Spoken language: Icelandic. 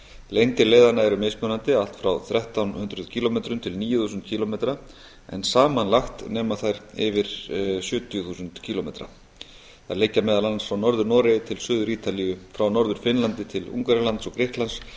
lengdir leiðanna eru mismunandi allt frá þrettán hundruð kílómetrum til níu þúsund kílómetra en samanlagt nema þær yfir sjötíu þúsund kílómetrum þær liggja meðal annars frá norður noregi til suður ítalíu frá norður finnlandi til ungverjalands og grikklands